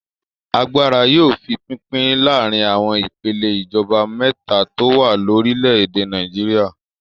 Agbára yóò fi pínpín láàárin àwọn ìpèlè ìjọba mẹ́ta tó wà lórílẹ̀-èdè Nàìjíríà.